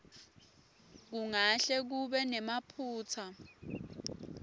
kungahle kube nemaphutsa